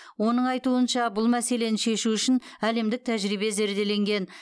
оның айтуынша бұл мәселені шешу үшін әлемдік тәжірибе зерделенген